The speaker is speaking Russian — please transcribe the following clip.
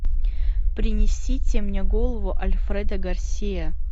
принесите мне голову альфредо гарсиа